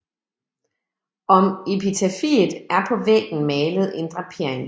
Om epitafiet er på væggen malet en drapering